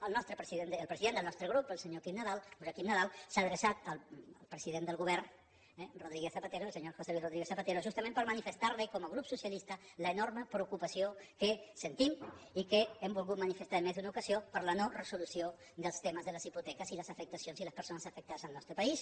el president del nostre grup el senyor quim nadal joaquim nadal s’ha adreçat al president del govern eh rodríguez zapatero el senyor josé luís rodríguez zapatero justament per manifestar li com a grup socialista l’enorme preocupació que sentim i que hem volgut manifestar en més d’una ocasió per la no resolució dels temes de les hipoteques i les afectacions i les persones afectades al nostre país